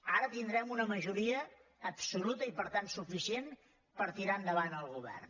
ara tindrem una majoria absoluta i per tant suficient per tirar endavant el govern